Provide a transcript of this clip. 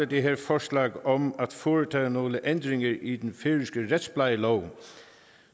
det her forslag om at foretage nogle ændringer i den færøske retsplejelov